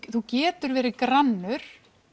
þú getur verið grannur